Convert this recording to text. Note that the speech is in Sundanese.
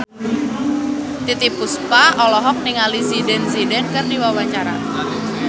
Titiek Puspa olohok ningali Zidane Zidane keur diwawancara